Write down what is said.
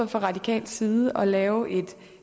fra radikal side foreslået at lave et